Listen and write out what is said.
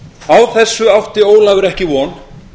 á þessu átti ólafur ekki von